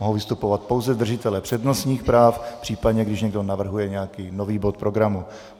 Mohou vystupovat pouze držitelé přednostních práv, případně když někdo navrhuje nějaký nový bod programu.